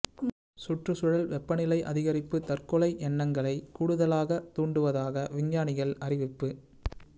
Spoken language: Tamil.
சுற்றுச்சூழல் வெப்பநிலை அதிகரிப்பு தற்கொலை எண்ணங்களைக் கூடுதலாகத் தூண்டுவதாக விஞ்ஞானிகள் அறிவிப்பு